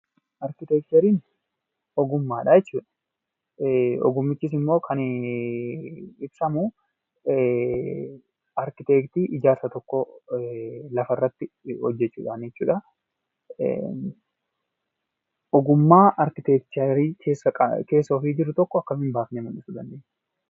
Arkiteekchariin ogummaadha jechuudha. Ogummichis immoo kan ibsamu arkiteektii ijaarsa tokkoo lafarratti hojjechuudhaani jechuudha. Ogummaa arkiteekcharii keessa ofii jiru tokko akkamiin baasnee mul'isuu dandeenya?